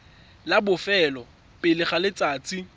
la bofelo pele ga letsatsi